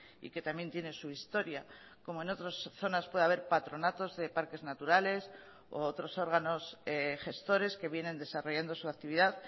y que también tiene su historia como en otras zonas puede haber patronatos de parques naturales o otros órganos gestores que vienen desarrollando su actividad